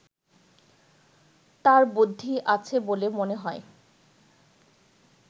তার বুদ্ধি আছে বলে মনে হয়